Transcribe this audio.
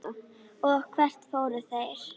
Og hvert fóru þeir?